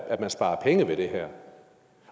at man sparer penge ved det her